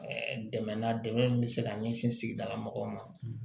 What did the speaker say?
dɛmɛ na dɛmɛ min bɛ se ka ɲɛsin sigida la mɔgɔw ma